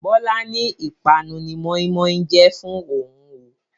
Bọlá ni ìpanu ni moin-moin jẹ fún òhun oo